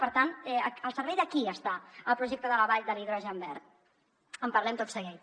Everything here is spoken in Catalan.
per tant al servei de qui està el projecte de la vall de l’hidrogen verd en parlem tot seguit